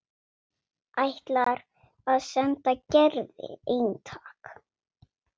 Ætlar að senda Gerði eintak.